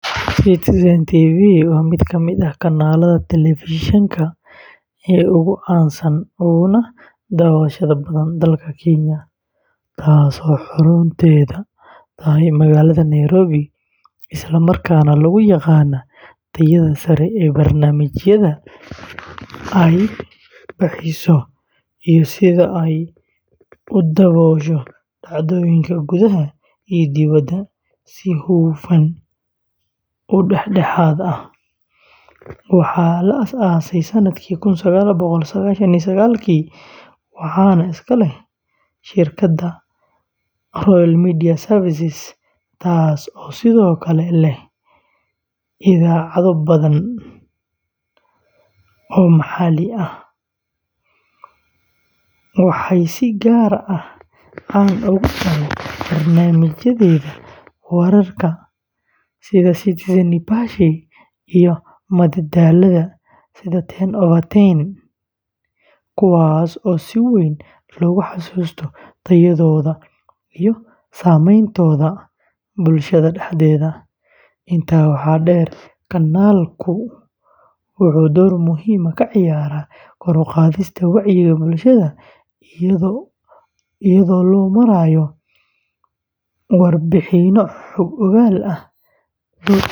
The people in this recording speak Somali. Citizen TV waa mid ka mid ah kanaalada telefishinka ee ugu caansan uguna daawashada badan dalka Kenya, taasoo xarunteedu tahay magaalada Nairobi, isla markaana lagu yaqaan tayada sare ee barnaamijyada ay baahiso iyo sida ay u daboosho dhacdooyinka gudaha iyo dibadda si hufan oo dhexdhexaad ah. Waxaa la aasaasay sanadkii kun sagaal boqol sagaashan iyo sagaalki, waxaana iska leh shirkadda Royal Media Services, taasoo sidoo kale leh idaacado badan oo maxalli ah. Citizen TV waxay si gaar ah caan ugu tahay barnaamijyadeeda wararka sida “Citizen Nipashe” iyo kuwa madadaalada sida “10 over 10”, kuwaas oo si weyn loogu xasuusto tayadooda iyo saameyntooda bulshada dhexdeeda. Intaa waxaa dheer, kanaalku wuxuu door muhiim ah ka ciyaaraa kor u qaadista wacyiga bulshada iyadoo loo marayo warbixinno xog-ogaal ah.